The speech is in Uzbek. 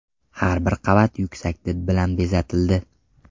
Har bir qavat yuksak did bilan bezatildi.